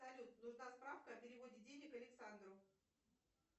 салют нужна справка о переводе денег александру